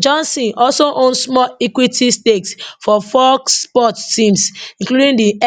johnson also own small equity stakes for four sports teams including the